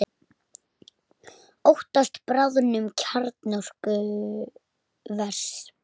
Óttast bráðnun kjarnorkuvers